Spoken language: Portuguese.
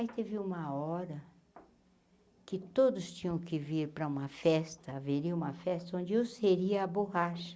Aí teve uma hora que todos tinham que vir para uma festa, haveria uma festa onde eu seria a borracha.